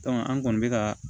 an kɔni bɛ ka